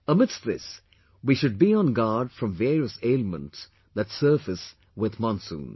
Amidst this, we should be on guard from various ailments that surface with Monsoon